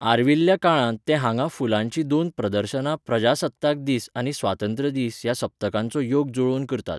आर्विल्ल्या काळांत ते हांगा फुलांची दोन प्रदर्शनां प्रजासत्ताक दीस आनी स्वातंत्र्य दीस ह्या सप्तकांचो योग जुळोवन करतात.